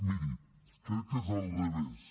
miri crec que és al revés